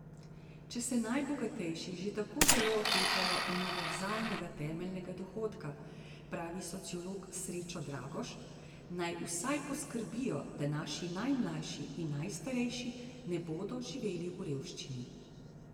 Če se najbogatejši že tako zelo otepajo univerzalnega temeljnega dohodka, pravi sociolog Srečo Dragoš, naj vsaj poskrbijo, da naši najmlajši in najstarejši ne bodo živeli v revščini.